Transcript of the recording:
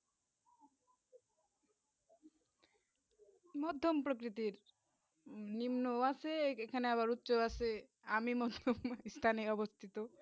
মধ্যম প্রকৃতি নিম্ন বাসে এইখানে আবার উচ্ছ বাসে আমি মনে পাকিস্তানে অবস্থিত